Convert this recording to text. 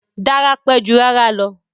Dára pẹ́ jù rárá lọ